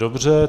Dobře.